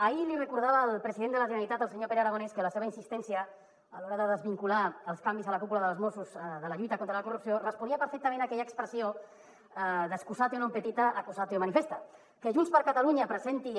ahir li recordava al president de la generalitat al senyor pere aragonès que la seva insistència a l’hora de desvincular els canvis a la cúpula dels mossos de la lluita contra la corrupció responia perfectament a aquella expres·sió